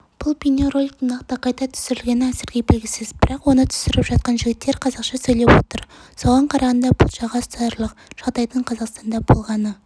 бұл бейнероликтің нақтықайда түсірілгені әзірге белгісіз бірақ онытүсіріп жатқан жігіттер қазақша сөйлеп отыр соған қарағанда бұл жаға ұстатарлық жағдайдың қазақстанда болғаны